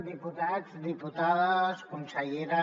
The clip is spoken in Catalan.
diputats diputades consellera